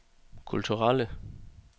kulturelle